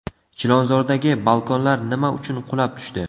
Chilonzordagi balkonlar nima uchun qulab tushdi?